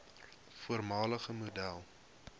voormalige model